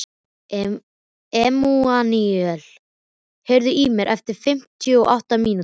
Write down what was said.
Emmanúel, heyrðu í mér eftir fimmtíu og átta mínútur.